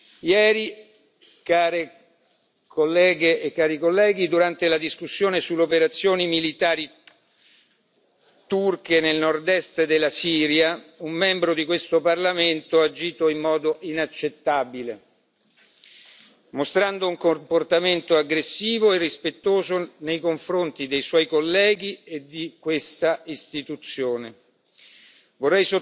Onorevoli colleghe, onorevoli colleghi, ieri, durante la discussione sulle operazioni militari turche nel nord est della Siria, un membro di questo Parlamento ha agito in modo inaccettabile, mostrando un comportamento aggressivo e irrispettoso nei confronti dei suoi colleghi e di questa Istituzione. Vorrei sottolineare,